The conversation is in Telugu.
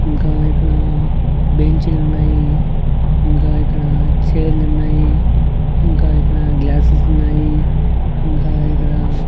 ఇంకా ఇక్కడ బెంచీలున్నాయి ఇంకా ఇక్కడ చైర్లున్నాయి ఇంకా ఇక్కడ గ్లాసెసున్నాయి ఇంకా ఇక్కడ--